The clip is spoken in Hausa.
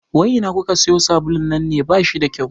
Wai ina kuka sayo sabulun nan ne, bashi da kyau